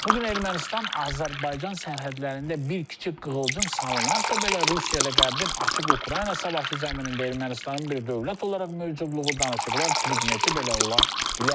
Bu gün Ermənistan Azərbaycan sərhədlərində bir kiçik qığılcım salınarsa belə Rusiya ilə Qərbin açıq Ukrayna savaşı zəminində Ermənistanın bir dövlət olaraq mövcudluğu danışıqlar predmeti belə ola bilər.